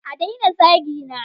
A daina zagina!